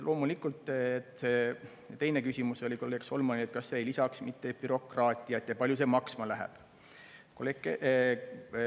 Loomulikult teine küsimus oli kolleeg Solmanil, et kas see ei lisaks mitte bürokraatiat ja kui palju see maksma läheb.